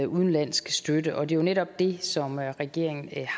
udenlandsk støtte og det er jo netop det som regeringen